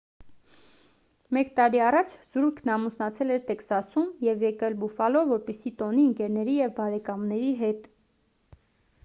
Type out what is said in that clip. մեկ տարի առաջ զույգն ամուսնացել էր տեքսասում և եկել բուֆալո որպեսզի տոնի ընկերների և բարեկամների հետ